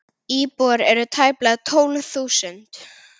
Íbúar eru tæplega tólf þúsund.